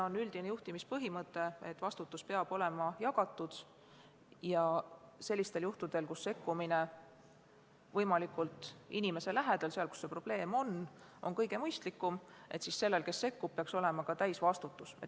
On üldine juhtimispõhimõte, et vastutus peab olema jagatud, ja sellistel juhtudel, kus kõige mõistlikum on sekkuda võimalikult inimese lähedal – seal, kus on probleem –, peaks sellel, kes sekkub, olema ka täisvastutus.